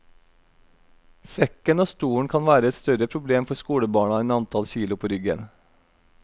Sekken og stolen kan være et større problem for skolebarna enn antall kilo på ryggen.